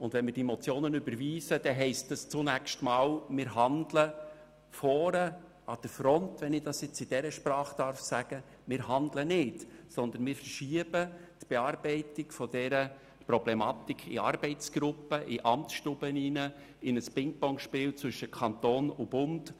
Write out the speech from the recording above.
Wenn wir diese Motionen überweisen, heisst dies, dass wir zunächst vorne an der Front – wenn ich es in dieser Sprache sagen darf – nicht handeln, sondern wir verschieben die Erarbeitung dieser Problematik in Arbeitsgruppen, in Amtsstuben in ein Pingpong-Spiel zwischen Kanton und Bund.